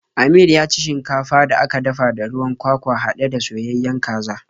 Amir ya ci shinkafar da aka dafa da ruwan kwakwa haɗe da soyayayen kaza.